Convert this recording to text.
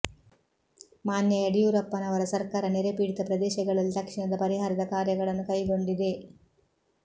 ಮಾನ್ಯ ಯಡಿಯೂರಪ್ಪನವರ ಸರ್ಕಾರ ನೆರೆಪೀಡಿತ ಪ್ರದೇಶಗಳಲ್ಲಿ ತಕ್ಷಣದ ಪರಿಹಾರದ ಕಾರ್ಯಗಳನ್ನು ಕೈಗೊಂಡಿದೆ